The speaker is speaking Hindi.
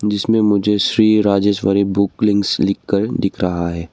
जिसमें मुझे श्री राजेश्वरी बुक लिंक्स लिखकर दिख रहा है।